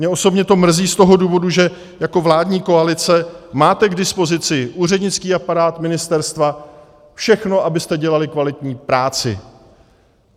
Mě osobně to mrzí z toho důvodu, že jako vládní koalice máte k dispozici úřednický aparát ministerstva, všechno, abyste dělali kvalitní práci.